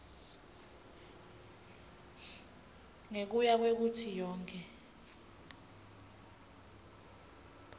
ngekuya kwekutsi yonkhe